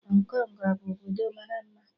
Hong Kong abu obodo mara mma?